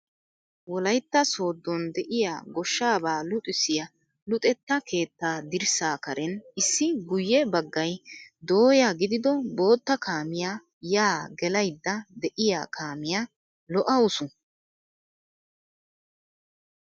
Wolaytta sooddon de'iya goshshaaba luxissiya luxetta keettaa dirssaa karen issi guyyee baggay dooyya gidido bootta kaamiya yaa gelayidda de'iya kaamiya lo'awusu!